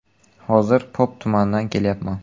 “Hozir Pop tumanidan kelyapman.